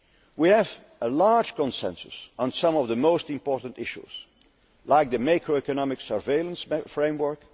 momentum. We have a large consensus on some of the most important issues, like the macro economic surveillance framework.